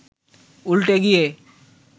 উল্টে গিয়ে